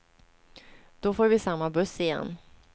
Då får vi samma buss igen.